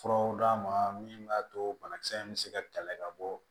Furaw d'a ma min b'a to banakisɛ in bɛ se ka kɛlɛ ka bɔ